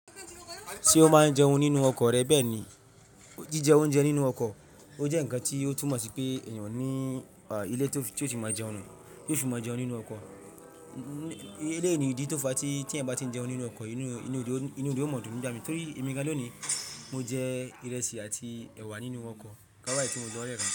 Ṣé o máa ń jẹun nínú ọkọ̀ rẹ bẹ́ẹ̀ ni? Jíjẹ oúnjẹ nínú ọkọ̀, ó jẹ́ ǹkan tí ó túmọ̀ sí pé ènìyàn ní ilé tí ó ti mọ jẹun nù, tó ti mọ jẹun nínú ọkọ̀. Eléèni dí tó fa tí ẹ́ bá ti ń jẹun nínú ọkọ̀, inú odò máa dùn nígbà mí. Torí èmi gan lọ ni mo jẹ ìrẹsì àti ẹ̀wà nínú ọkọ̀, ká wá èyí tí mo gbọ́ lẹ́rẹ̀ náà.